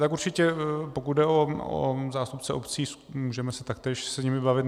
Tak určitě, pokud jde o zástupce obcí, můžeme se taktéž s nimi bavit.